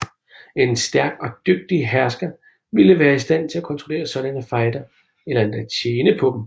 En stærk og dygtig hersker ville være i stand til at kontrollere sådanne fejder eller endda tjene på dem